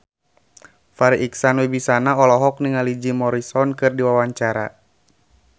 Farri Icksan Wibisana olohok ningali Jim Morrison keur diwawancara